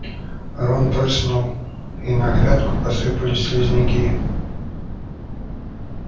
рон прыснул и на грядку посыпались слизняки